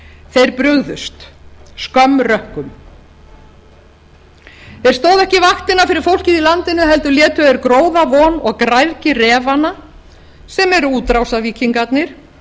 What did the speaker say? þeir brugðust skömm rökkum þeir stóðu ekki vaktina fyrir fólkið í landinu heldur létu þeir gróðavon og græðgi refanna sem eru útrásarvíkingarnir